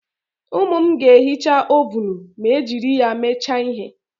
Ụmụ m ga-ehicha ovunu ma e jiri ya mecha ihe